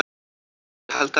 """Nei, ég held ekki."""